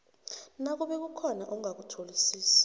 nakube kukhona ongakutholisisi